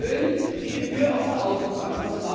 Wir erhöhen die Gebühr auf der Autobahn.